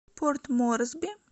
порт морсби